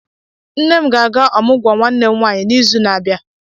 Nne m ga-aga ọmụgwọ nwanne m nwaanyị n'izu n'abịa.